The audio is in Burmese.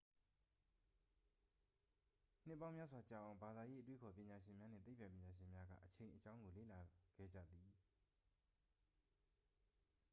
နှစ်ပေါင်းများစွာကြာအောင် ဘာသာရေး အတွေးအခေါ်ပညာရှင်များနှင့် သိပ္ပံပညာရှင်များက အချိန်အကြောင်း ကိုလေ့လာလာခဲ့ကြသည်